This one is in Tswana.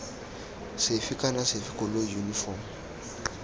sefe kana sefe koloi yunifomo